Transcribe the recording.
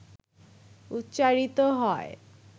উচ্চারিত হয়,